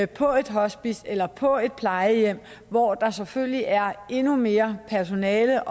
på et hospice eller på et plejehjem hvor der selvfølgelig er endnu mere personale